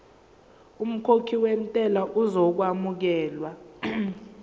umkhokhi wentela uzokwamukelwa